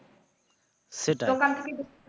সেটাই